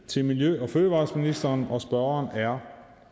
til miljø og fødevareministeren og spørgeren er